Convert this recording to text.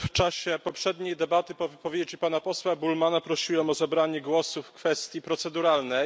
W czasie poprzedniej debaty po wypowiedzi pana posła Bullmanna prosiłem o zabranie głosu w kwestii proceduralnej.